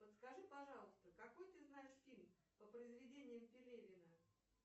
подскажи пожалуйста какой ты знаешь фильм по произведениям пелевина